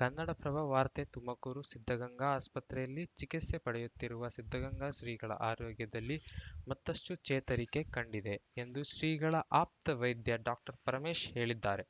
ಕನ್ನಡಪ್ರಭ ವಾರ್ತೆ ತುಮಕೂರು ಸಿದ್ಧಗಂಗಾ ಆಸ್ಪತ್ರೆಯಲ್ಲಿ ಚಿಕಿತ್ಸೆ ಪಡೆಯುತ್ತಿರುವ ಸಿದ್ಧಗಂಗಾ ಶ್ರೀಗಳ ಆರೋಗ್ಯದಲ್ಲಿ ಮತ್ತಷ್ಟುಚೇತರಿಕೆ ಕಂಡಿದೆ ಎಂದು ಶ್ರೀಗಳ ಆಪ್ತ ವೈದ್ಯ ಡಾಕ್ಟರ್ಪರಮೇಶ್‌ ಹೇಳಿದ್ದಾರೆ